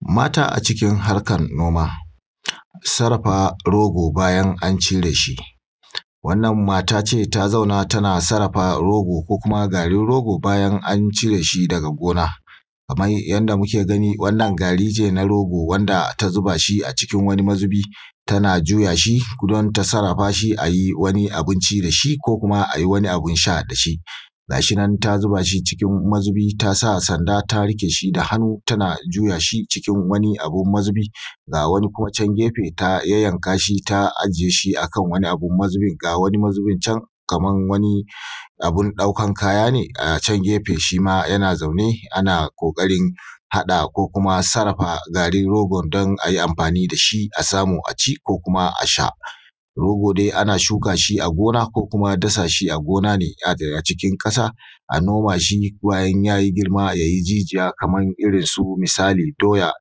mata a cikin harkan noːma, saraffa rogo bayan an cireː shi, wannan mataː ce ta zaːnna tana saraffa rogo ko kuma ga rogo bayan an cireː shi daga gona. Kaman yadda muke gani, wannan garin ne na rogo wanda ta zubaː shi a cikin wanni mazuːbi, tana juyaː shi don ta saraffa shi aː. ai wanni abinci da shi, ko kuma ai wanni abun saː da shi ga shi nan ta zubaː shi a cikin mazuːbi, tasaː sanda, ta riːƙe shi da hannu, tana juyaː shi a cikin wani abun mazuːbi. Ga wani kuma can geːfe, ta yayyankaː shi, ta ajiːye shi akan wani abun mazuːbi. Ga wani mazuːbin can, kaman wani abun ɗaukan kayan ne a can geːfe, shima yana zaːnne ana ƙoːƙarin haɗa ko kuma saraffa garin rogon don ai amːfaːni da shi a samu aː ci ko kuma a sha. rogo dai an suːka shi a gona, ko kuma dasa shi a gona ne a cikin ƙasaː a noma shi, zuwa in yaː yi girmaː, ya ːyi jijiyaː. kaman irin su, misali doyaː,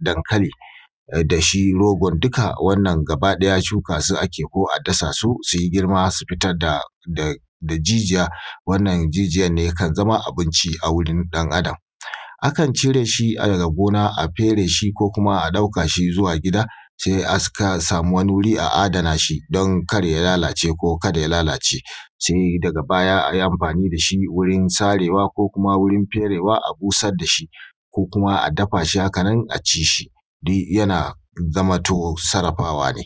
dankali da shi rogon. Duka wannan gaba ɗaya, shuːka su ake yi, ko kuma adasaː su su yi girmaː su fitar da jijiyaː. wannan jijiyaː ne yakan zama abunci na wuri ɗan adam. A kan cire shi daga gona, a fere shi, ko kuma a ɗauka shi zuwa gida se a saːkaː, a samu wanni wurin, a adana shi don kar ya lallaːce, ko kada ya lallaːce, saboːdaga baya ai amːfaːni da shi wurin sareːwa ko kuma wurin fereːwa, a busaːr da shi, ko kuma a dafaː shi. Hakan nan a ci shi, duk yana zaːmantoː saraffaːwa ne.